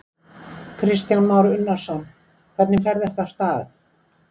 Kristján Már Unnarsson: Hvernig fer þetta af stað?